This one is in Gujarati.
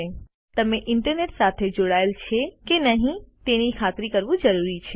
અને તમે ઇન્ટરનેટ સાથે જોડાયેલ છે કે નહિં તેની ખાતરી કરવું જરૂરી છે